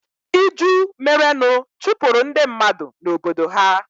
iju merenụ chụpụrụ ndị mmadụ na Obodo ha.